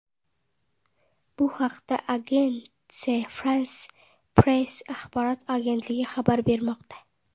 Bu haqda Agence France-Presse axborot agentligi xabar bermoqda .